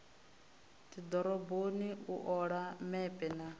dzidoroboni u ola mepe na